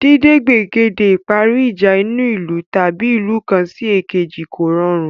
Dídé gbègede ìparí ìjà inú ìlú/ ìlú kan sí èkejì kò rọrùn